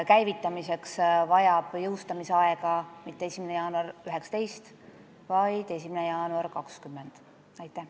Käivitamiseks läheb vaja jõustamisaega 1. jaanuar 2020, mitte 1. jaanuar 2019.